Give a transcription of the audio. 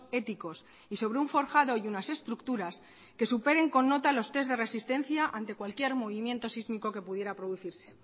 éticos y sobre un forjado y unas estructuras que superen con nota los test de resistencia ante cualquier movimiento sísmico que pudiera producirse